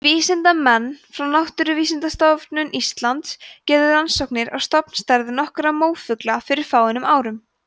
vísindamenn frá náttúrufræðistofnun íslands gerðu rannsóknir á stofnstærð nokkurra mófugla fyrir fáeinum árum